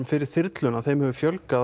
fyrir þyrluna hefur fjölgað